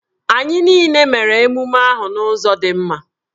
Anyị niile mere emume ahụ n'ụzọ dị mma.